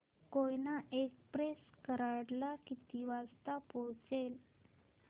Koyna express Karad ला किती वाजता पोहचेल